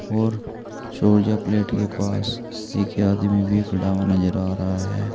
और सौर ऊर्जा प्लेट के पास एक आदमी भी खड़ा हुआ नजर आ रहा है।